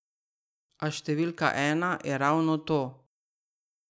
A številka ena je ravno to.